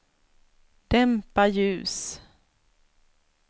dämpa ljus